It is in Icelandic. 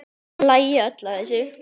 Þau hlæja öll að þessu.